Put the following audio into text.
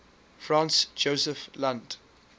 franz josef land